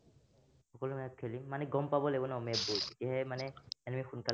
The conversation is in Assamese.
সকলো match খেলিম। মানে গম পাব লাগিব ন match বোৰ, তেতিয়াহে মানে এনেই সোনকালে